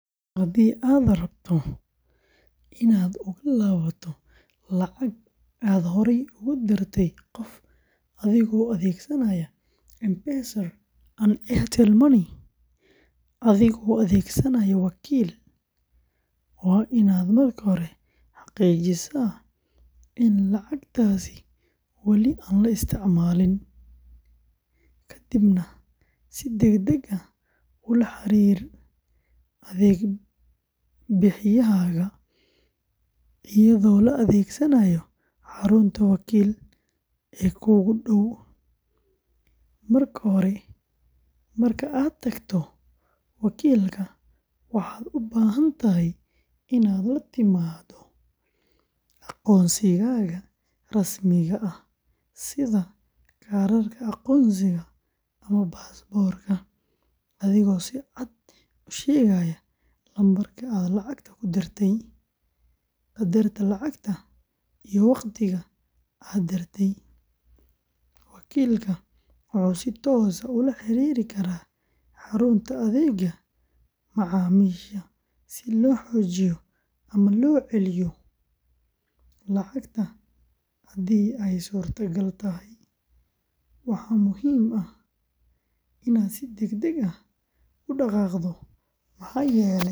Haddii aad rabto inaad uga laabato lacag aad horey ugu dirtay qof adigoo adeegsanaya M-Pesa and Airtel Money adigoo adeegsanaya wakiil, waa inaad marka hore xaqiijisaa in lacagtaasi wali aan la isticmaalin, kadibna si degdeg ah ula xiriir adeeg bixiyahaaga iyadoo la adeegsanayo xarunta wakiil ee kuugu dhow. Marka aad tagto wakiilka, waxaad u baahan tahay inaad la timaado aqoonsigaaga rasmiga ah sida kaarka aqoonsiga ama baasaboorka, adigoo si cad u sheegaya lambarka aad lacagta u dirtay, qadarka lacagta, iyo waqtiga aad dirtay. Wakiilka wuxuu si toos ah ula xiriiri karaa xarunta adeegga macaamiisha si loo baajiyo ama loo celiyo lacagta haddii ay suurtagal tahay. Waxaa muhiim ah inaad si degdeg ah u dhaqaaqdo maxaa yeelay.